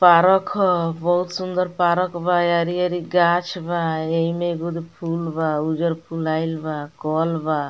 Park ह बहुत सुन्दर पारक बा। हरी-हरी गाछ बा एही में एगो फूल बा उज्जर फुलाइल बा कल बा।